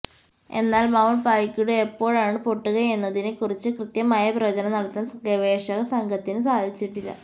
എന്നാൽ Mount Paektu എപ്പോഴാണ് പൊട്ടുകയെന്നതിനെ കുറിച്ച് കൃത്യമായ പ്രവചനം നടത്താൻ ഗവേഷക സംഘത്തിന് സാധിച്ചിട്ടില്ല